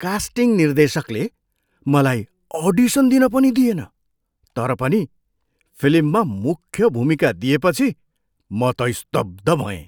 Casting निर्देशकले मलाई audition दिन पनि दिएन तर पनि फिल्ममा मुख्य भूमिका दिएपछि म त स्तब्ध भएँ।